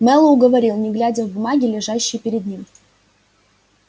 мэллоу говорил не глядя в бумаги лежащие перед ним